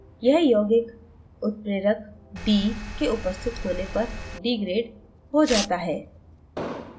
यह यौगिक उत्प्रेरक d के उपस्थित होने पर degraded हो जाता है